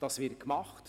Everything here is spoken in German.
Das wird gemacht.